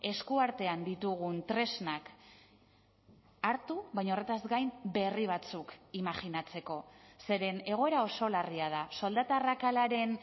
eskuartean ditugun tresnak hartu baina horretaz gain berri batzuk imajinatzeko zeren egoera oso larria da soldata arrakalaren